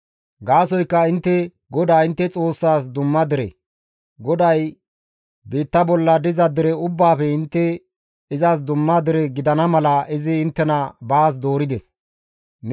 Gaasoykka intte, GODAA intte Xoossaas dumma dere; GODAY biitta bolla diza dere ubbaafe intte izas dumma dere gidana mala izi inttena baas doorides.